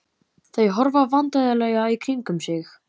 Þau horfa vandræðalega í kringum sig.